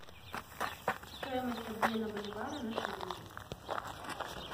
стоимость обмена боливара на шиллинги